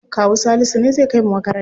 Kawu Salisu ne zai kai mu makaranta.